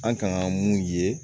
An kan ka mun ye